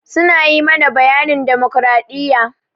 Su na yi mana bayanin damokradiyya.